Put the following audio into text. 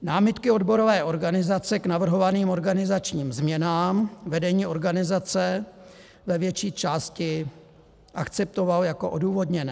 Námitky odborové organizace k navrhovaným organizačním změnám vedení organizace ve větší části akceptovalo jako odůvodněné.